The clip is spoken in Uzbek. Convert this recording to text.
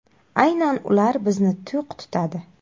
Aynan ular bizni to‘q tutadi.